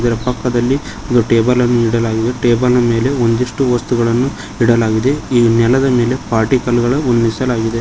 ಇದರ ಪಕ್ಕದಲ್ಲಿ ಒಂದು ಟೇಬಲ್ಲನ್ನು ಇಡಲಾಗಿದೆ ಟೇಬಲ್ನ ಮೇಲೆ ಒಂದಿಷ್ಟು ವಸ್ತುಗಳನ್ನು ಇಡಲಾಗಿದೆ ಈ ನೆಲದ ಮೇಲೆ ಪಾಟಿ ಕಲ್ಲುಗಳನ್ನು ಹೊಂದಿಸಲಾಗಿದೆ.